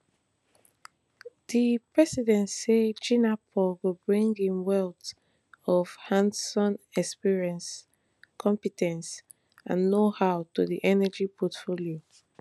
di president say jinapor go bring im wealth of handson experience compe ten ce and knowhow to di energy portfolio